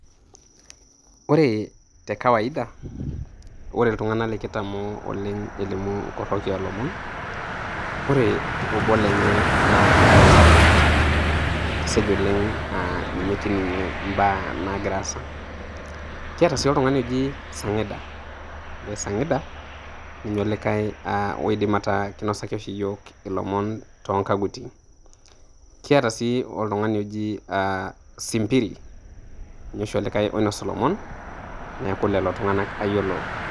Ore te kawaida ore iltung'ana likitamoo oleng' elimu inkoroki oolomon,.Ore obo lenye naa Letabo, keseja oleng' um ninye kining'ie imbaa naag'ira aasa. Keetai sii oltung'ani oji, Sang'ida ore Sang'ida ninye olika aa oidim ataa keinosaki oshi iyiok too kaguti. Kiata sii oltung'ani oji Simpiri, ninye oshi olikai oinosu ilomon, neaku lelo tunganak ayiolo.